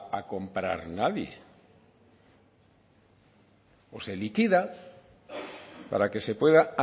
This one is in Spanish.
a comprar nadie o se liquida para que se pueda